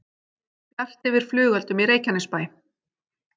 Bjart yfir flugeldum í Reykjanesbæ